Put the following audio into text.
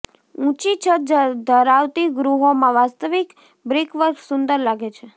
ઊંચી છત ધરાવતી ગૃહોમાં વાસ્તવિક બ્રિકવર્ક સુંદર લાગે છે